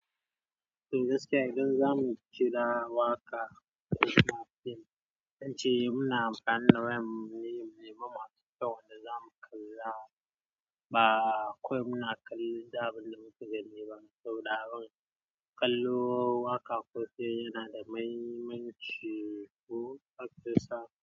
Eh gaskiya idan zamu ciga waƙa daga fim, tance muna bayyana wayam ne maimakon kyawun da zamu kalla. Ba kawai muna kalla abunde da muke gani ba. Sau da kallo waƙa ko dai yana da maimanchi ko akwasa.